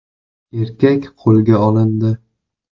(erkak) qo‘lga olindi.